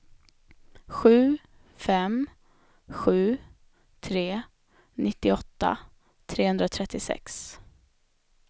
sju fem sju tre nittioåtta trehundratrettiosex